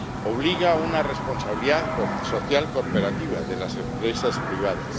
Obliga a la responsabilidad social corporativa de las empresas privadas.